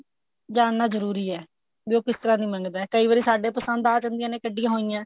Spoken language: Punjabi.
ਜਾਨਣਾ ਜਰੂਰੀ ਐ ਵੀ ਉਹ ਕਿਸ ਤਰ੍ਹਾਂ ਦੀ ਮੰਗਦਾ ਕਈ ਵਾਰੀ ਸਾਡੇ ਪਸੰਦ ਆ ਜਾਂਦੀ ਐ ਕੱਢੀਆ ਹੋਇਆ